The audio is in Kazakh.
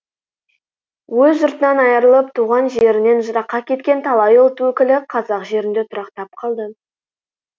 өз жұртынан айырылып туған жерінен жыраққа кеткен талай ұлт өкілі қазақ жерінде тұрақтап қалды